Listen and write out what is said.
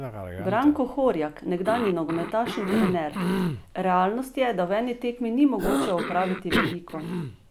Branko Horjak, nekdanji nogometaš in trener: 'Realnost je, da v eni tekmi ni mogoče opraviti veliko.